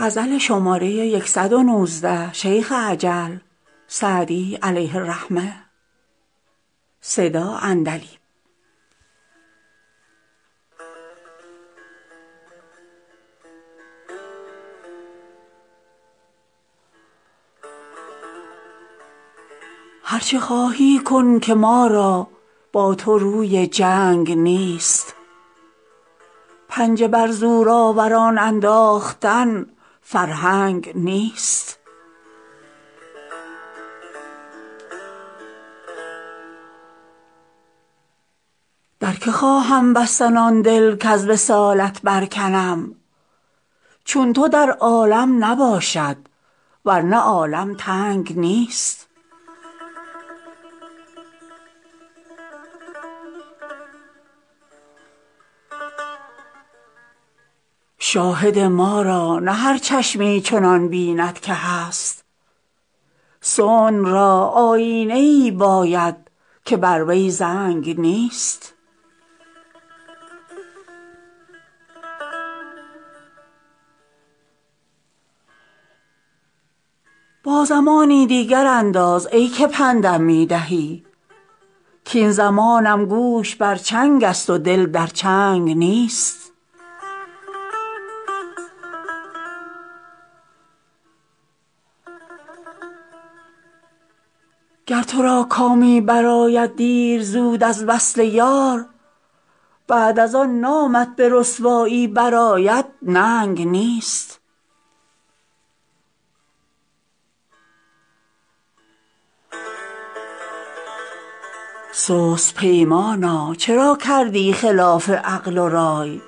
هر چه خواهی کن که ما را با تو روی جنگ نیست پنجه بر زورآوران انداختن فرهنگ نیست در که خواهم بستن آن دل کز وصالت برکنم چون تو در عالم نباشد ور نه عالم تنگ نیست شاهد ما را نه هر چشمی چنان بیند که هست صنع را آیینه ای باید که بر وی زنگ نیست با زمانی دیگر انداز ای که پند م می دهی کاین زمانم گوش بر چنگ است و دل در چنگ نیست گر تو را کامی برآید دیر زود از وصل یار بعد از آن نامت به رسوایی برآید ننگ نیست سست پیمانا چرا کردی خلاف عقل و رای